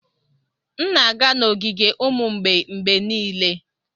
M na-aga n'ogige ụmụ mgbei mgbe niile.